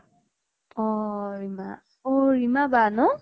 অহ ৰিমা অহ ৰিমা বা ন?